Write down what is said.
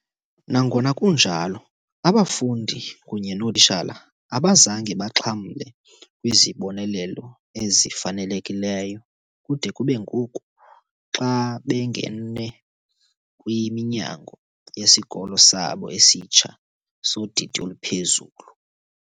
Nangona kunjalo, abafundi kunye nootitshala abazange baxhamle kwizibonelelo ezifanelekileyo kude kube ngoku, xa bengene kwiminyango yesikolo sabo esitsha, sodidi oluphezulu.